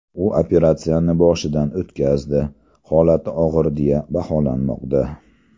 U operatsiyani boshidan o‘tkazdi, holati og‘ir deya baholanmoqda.